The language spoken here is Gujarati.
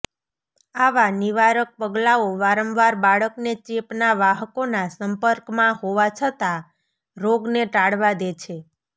આવા નિવારક પગલાઓ વારંવાર બાળકને ચેપના વાહકોના સંપર્કમાં હોવા છતાં રોગને ટાળવા દે છે